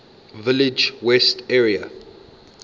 village west area